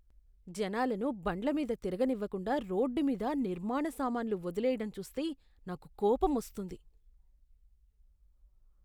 జనాలను బండ్ల మీద తిరగనివ్వకుండా రోడ్డు మీద నిర్మాణ సామాన్లు వదిలేయడం చూస్తే నాకు కోపమొస్తుంది.